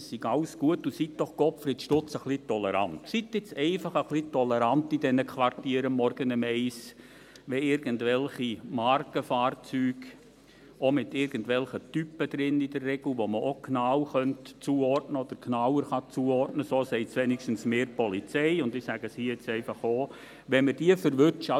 ‹Alles ist gut, und seien Sie doch ein wenig tolerant, Himmel nochmal, seien Sie einfach ein wenig tolerant in den Quartieren, morgens um 1 Uhr!›», wenn irgendwelche Markenfahrzeuge, in der Regel auch mit irgendwelchen Typen drin, die man genau oder genauer zuordnen kann – das sagt mir jedenfalls die Polizei, und ich sage es hier jetzt auch –, wenn wir die erwischen.